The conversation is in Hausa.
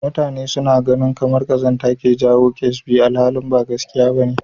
Mutane suna ganin kamar ƙazanta ke jawo ƙyasbi alhali ba gaskiya ba ne.